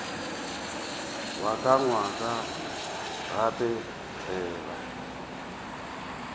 wa ka nkwa gape ntseba